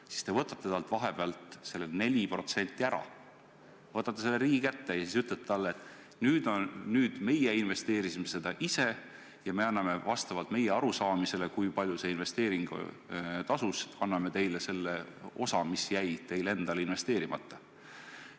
Samas te võtate talt vahepeal selle 4% ära, võtate selle riigi kätte, ja siis ütlete talle, et nüüd meie investeerisime seda ise ja anname vastavalt meie arusaamisele, kui palju see investeering tasus, teile selle osa, mis jäi teil endal investeerimata.